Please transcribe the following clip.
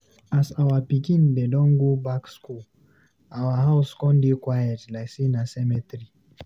As our pikin dem don go back school, our house con dey quiet like sey na cemetery.